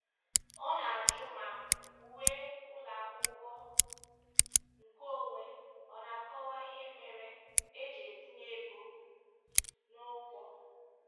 Ọ na-ajụ ma uwe ụlọakwụkwọ nke onwe ọ na-akọwa ihe mere e ji etinye ego n'ụgwọ.